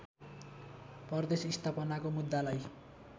प्रदेश स्थापनाको मुद्दालाई